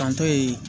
Kanto ye